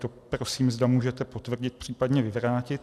To prosím, zda můžete potvrdit, případně vyvrátit.